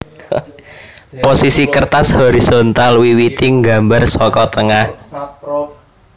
Posisi kertas horisontal wiwiti nggambar saka tengah